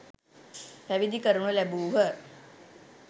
පැවිදි කරනු ලැබූහ.